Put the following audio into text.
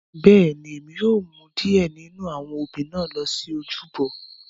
Bẹ́ẹ̀ni, Emi yóò mu diẹ ninu awọn obí na lo si ojúbọ.